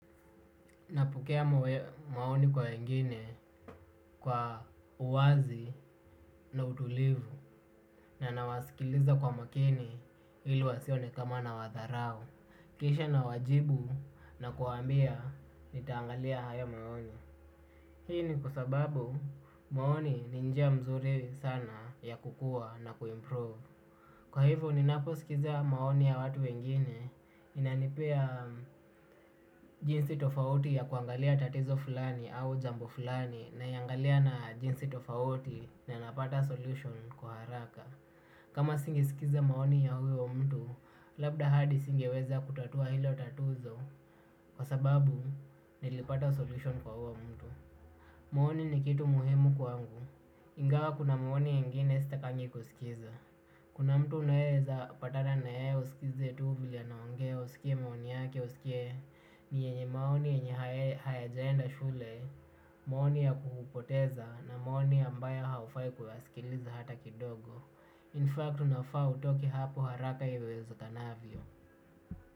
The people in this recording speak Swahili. Napokea maoni kwa wengine kwa uwazi na utulivu na nawasikiliza kwa makini ili wasione kama nawadharau. Kisha nawajibu nakuwambia nitaangalia hayo maoni. Hii ni kwa sababu maoni ni njia mzuri sana ya kukua na kuimprove. Kwa hivyo ninaposikiza maoni ya watu wengine, inanipea jinsi tofauti ya kuangalia tatizo fulani au jambo fulani naiangalia na jinsi tofauti na napata solution kwa haraka. Kama singesikiza maoni ya huyo mtu, labda hadi singeweza kutatua hilo tatizo kwa sababu nilipata solution kwa huyo mtu. Maoni ni kitu muhimu kwangu, ingawa kuna maoni ingine sitakangi kusikiza. Kuna mtu unaeza patana naye usikize tu vile anaongea usikie maoni yake usikie ni yenye maoni yenye hayajaenda shule, maoni ya kukupoteza na maoni ambayo haufai kuyasikiliza hata kidogo. Infact, unafaa utoke hapo haraka iwezekanavyo.